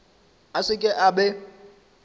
a se ke a be